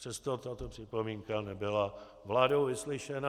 Přesto tato připomínka nebyla vládou vyslyšena.